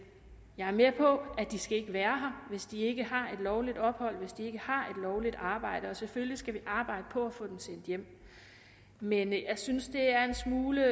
jeg er med på at de ikke skal være her hvis de ikke har et lovligt ophold og hvis de ikke har lovligt arbejde og selvfølgelig skal vi arbejde på at få dem sendt hjem men jeg synes det er en smule